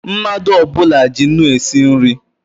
Mmadụ ọbula ji ńnú esi nri